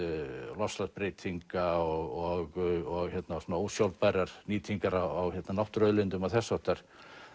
loftslagsbreytinga og svona ósjálfbærrar nýtingar á náttúruauðlindum og þess háttar